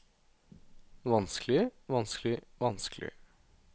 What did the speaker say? vanskelig vanskelig vanskelig